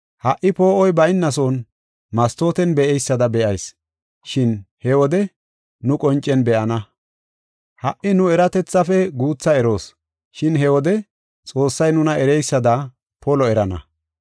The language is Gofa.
Ha77i poo7oy bayna son mastooten be7eysada be7oos, shin he wode nu qoncen be7ana. Ha77i nu eratethaafe guutha eroos, shin he wode Xoossay nuna ereysada polo erana.